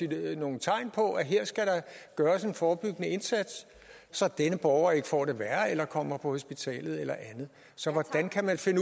der være nogle tegn på at her skal gøres en forebyggende indsats så denne borger ikke får det værre eller kommer på hospitalet eller andet så hvordan kan man finde